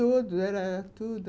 Todos, era tudo.